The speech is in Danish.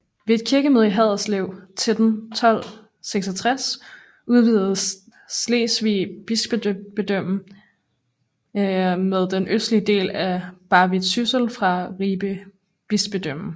Ved et kirkemøde i Haderslev 1266 udvidedes Slesvig Bispedømme med den østlige del af Barvid Syssel fra Ribe Bispedømme